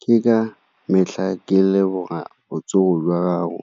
Ke ka metlha ke leboga botsogo jwa gago